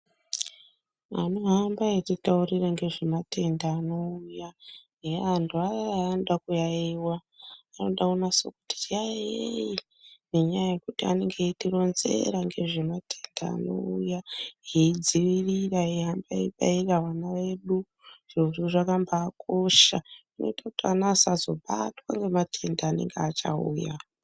Anohambe eititaurira nezvematenda anouya, antu aya aya anoda kuyaiyiwa. Anoda kunase kuzwi yaiyei ngenyaya yekuti vanode kunase kutironzera ngezvematenda anouya veidziirira, veihambe veibairira vana vedu. Zvirozvo zvakambaakosha zvinoite kuti ana edu asazobatwa ngematenda anenge achazouya.